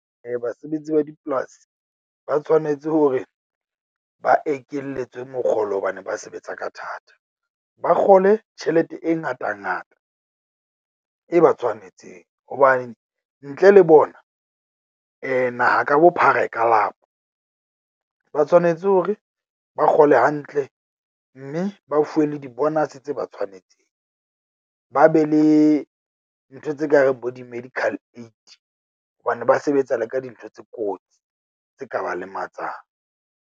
Basebetsi ba dipolasi ba tshwanetse hore ba ekeletswe mokgolo hobane ba sebetsa ka thata. Ba kgole tjhelete e ngata ngata e ba tshwanetseng hobane ntle le bona naha ka bophara e ka lapa. Ba tshwanetse hore ba kgole hantle mme ba fuwe le di-bonus tse ba tshwanetseng, ba be le ntho tse kareng bo di-medical aid hobane ba sebetsa le ka dintho tse kotsi tse ka ba lematsang.